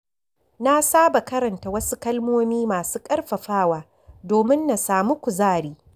Na saba karanta wasu kalmomi masu ƙarfafawa domin na sami kuzari.